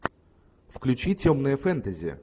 включи темное фэнтези